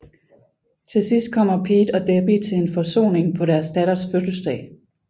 Til sidst kommer Pete og Debbie til en forsoning på deres datters fødselsdag